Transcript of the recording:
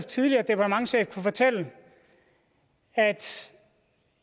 tidligere departementschef kunne fortælle at